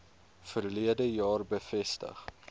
verlede jaar bevestig